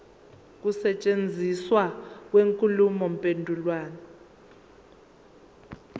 ukusetshenziswa kwenkulumo mpendulwano